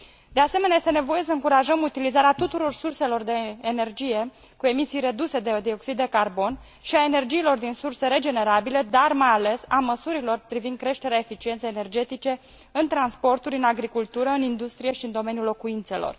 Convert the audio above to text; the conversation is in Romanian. De asemenea, este nevoie să încurajăm utilizarea tuturor surselor de energie cu emisii reduse de dioxid de carbon și a energiilor din surse regenerabile, dar mai ales a măsurilor privind creșterea eficienței energetice în transporturi, în agricultură, în industrie și în domeniul locuințelor.